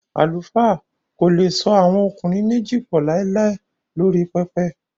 Àlùfáà kò le so àwọn ọkùnrin méjì pọ̀ láíláí lórí pẹpẹ